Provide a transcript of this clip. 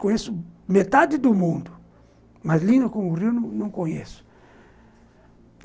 Conheço metade do mundo, mas linda como o Rio, não conheço.